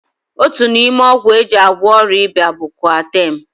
Otu n'ime ọgwụ e ji agwọ ọrịa ịba bụ koatem.